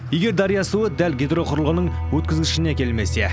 егер дария суы дәл гидроқұрылғының өткізгішіне келмесе